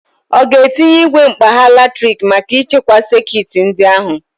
Ọ ga-etinye igwe mkpagha latrik maka ichekwa sekit ndị a ahụ?